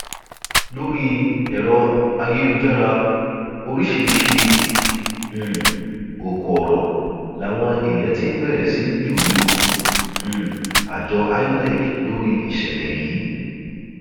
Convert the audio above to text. lórí ẹrọ ayélujára oríṣiríṣiì um ọkọ ọrọ làwọn èèyàn ti bẹrẹ sí í jù lu um àjọ inec lórí ìṣẹlẹ yìí